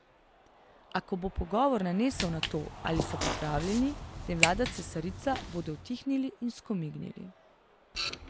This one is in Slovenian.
A ko bo pogovor nanesel na to, ali so pripravljeni, da jim vlada cesarica, bodo utihnili in skomignili.